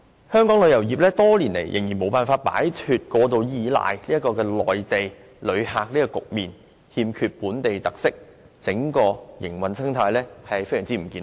香港旅遊業多年來仍然無法擺脫過度倚賴內地旅客的局面，欠缺本地特色，整個營運生態極不健康。